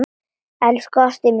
Elsku ástin mín.